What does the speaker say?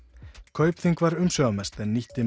Kaupþing var umsvifamest en nýtti